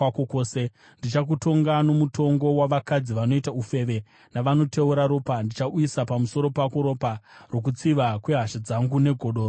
Ndichakutonga nomutongo wavakadzi vanoita ufeve navanoteura ropa; ndichauyisa pamusoro pako ropa rokutsiva kwehasha dzangu negodo rokutsamwa kwangu.